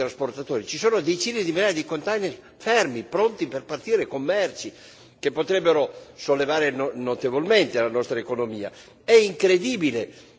A Genova, ci dicono i trasportatori, ci sono decine di migliaia di container fermi, pronti per partire con merci, che potrebbero sollevare notevolmente la nostra economia.